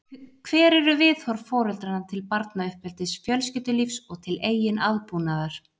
Hver eru viðhorf foreldranna til barnauppeldis, fjölskyldulífs og til eigin aðbúnaðar?